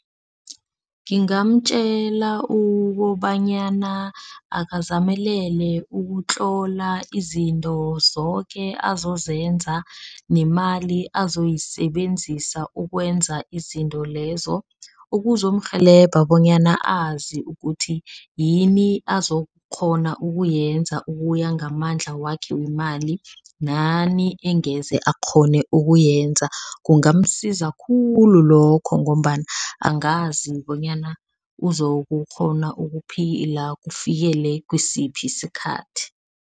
Ngingamtjela ukobanyana akazamelele ukutlola izinto zoke azozenza, nemali azoyisebenzisa ukwenza izinto lezo. Ukuzomurhelebha bonyana azi ukuthi yini azokukghona ukuyenza ukuya ngamandla wakhe wemali. Nani engeze akghone ukuyenza, kungamsiza khulu lokho ngombana angazi bonyana uzokukghona ukuphila kufikele kisiphi sikhathi.